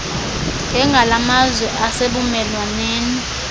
njengala mazwe asebumelwaneni